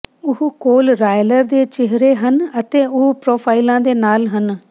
ਉਹ ਕੋਲ ਰਾਇਲਰ ਦੇ ਚਿਹਰੇ ਹਨ ਅਤੇ ਉਹ ਪ੍ਰੋਫਾਈਲਾਂ ਦੇ ਨਾਲ ਹਨ